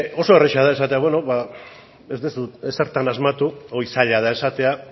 oso erraza da esatea beno ba ez duzu ezertan asmatu hori zaila da esatea